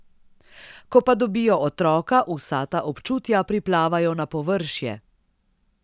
Ko pa dobijo otroka, vsa ta občutja priplavajo na površje.